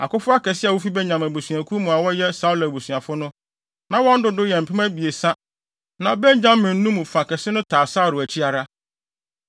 Akofo akɛse a wofi Benyamin abusuakuw mu a wɔyɛ Saulo abusuafo no, na wɔn dodow yɛ mpem abiɛsa (3,000). Na Benyaminfo no mu fa kɛse no taa Saulo akyi ara.